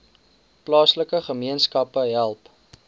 plaaslike gemeenskappe help